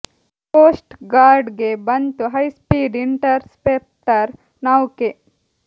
coast guard ಗೆ ಬಂತು high speed interceptor ನೌಕೆ